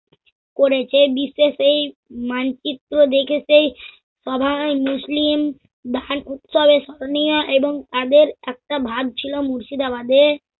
করেছে বিশ্বে সেই মানচিত্র দেখে সেই সভায় মুসলিম ভান উৎসবে স্মরণীয় এবং তাদের একটা ভার ছিল মুর্শিদাবাদে